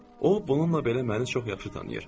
O bununla belə məni çox yaxşı tanıyır.